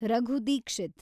Raghu Dixit